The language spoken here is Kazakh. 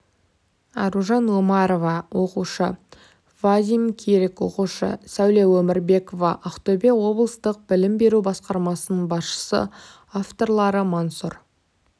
аружан омарова оқушы вадим кирик оқушы сәуле өмірбекова ақтөбе облыстық білім беру басқармасының басшысы авторлары мансұр